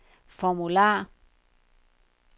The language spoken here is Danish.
formular